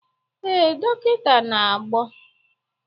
ee, nkịta na-agbọ